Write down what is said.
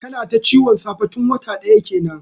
Tana ta ciwon safe tun wata daya kenan.